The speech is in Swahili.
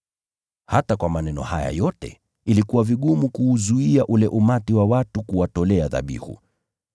Hata kwa maneno haya yote, ilikuwa vigumu kuuzuia ule umati wa watu kuwatolea dhabihu.